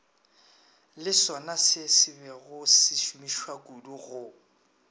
le sonasebego se šomišwakudu go